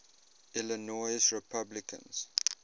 illinois republicans